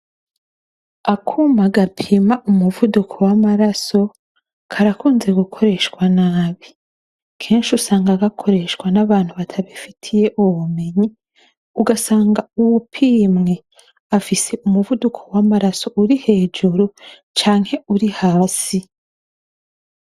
Akuma gapima umuvuduko w'amaraso karakunze gukoreshwa nabi. Kenshi usanga gakoreshwa n'abantu batabifitiye ubumenyi ugasanga uwupimwe afise umuvuduko w'amaraso uri hejuru canke uri hasi.